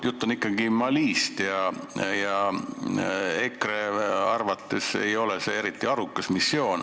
Jutt on ikkagi Malist ja EKRE arvates see ei ole eriti arukas missioon.